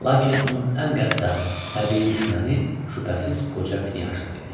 Lakin onun ən qəddar təbii düşməni şübhəsiz qoca Knyazna idi.